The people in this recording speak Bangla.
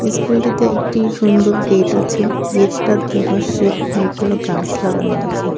ইস্কুলটিতে একটি সুন্দর গেট আছে গেটটার দুপাশে অনেকগুলো গাস লাগানো আসে.